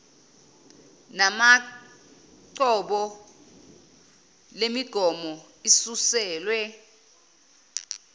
namacbo lemigomo isuselwe